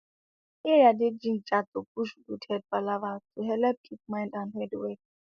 area dey gingered to push good head palava to helep keep mind and head well